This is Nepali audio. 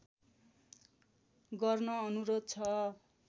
गर्न अनुरोध छ